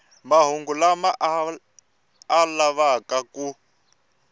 mahungu lama a lavaka ku